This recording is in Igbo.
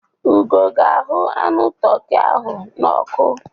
Ugo ga-ahu anụ toki ahụ n'ọkụ.